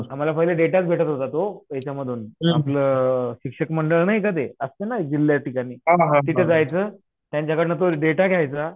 आम्हाला पूर्ण देताच भेटत होता तो यांच्यामधून आपलं शिक्षण मंडळ नाही का ते असतं ना ते जिल्ह्याच्या ठिकाणी तिथं जायचं त्यांच्याकडनं तो डेटा घ्यायचा